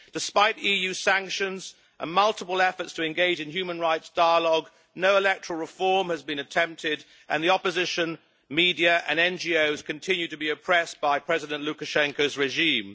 Despite EU sanctions and multiple efforts to engage in human rights dialogue, no electoral reform has been attempted and the opposition media and NGOs continue to be oppressed by President Lukashenko's regime.